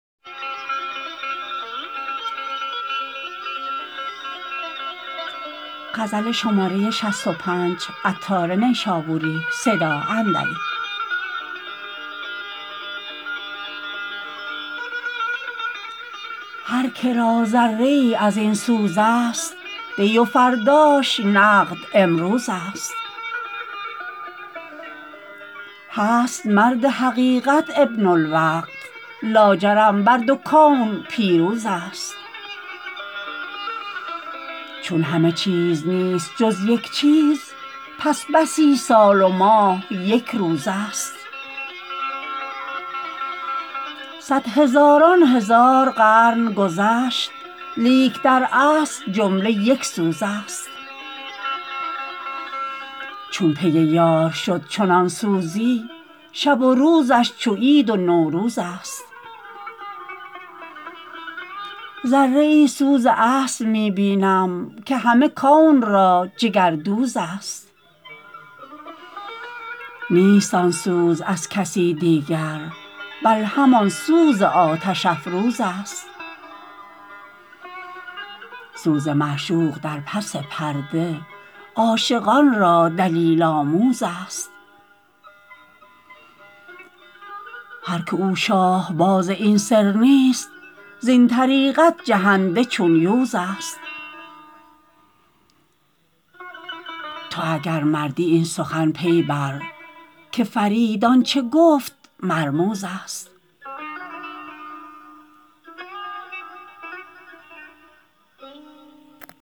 هر که را ذره ای ازین سوز است دی و فرداش نقد امروز است هست مرد حقیقت ابن الوقت لاجرم بر دو کون پیروز است چون همه چیز نیست جز یک چیز پس بسی سال و ماه یک روز است صد هزاران هزار قرن گذشت لیک در اصل جمله یک سوز است چون پی یار شد چنان سوزی شب و روزش چو عید و نوروز است ذره ای سوز اصل می بینم که همه کون را جگر دوز است نیست آن سوز از کسی دیگر بل همان سوز آتش افروز است سوز معشوق در پس پرده عاشقان را دلیل آموز است هرکه او شاه باز این سر نیست زین طریقت جهنده چون یوز است تو اگر مردی این سخن پی بر که فرید آنچه گفت مرموز است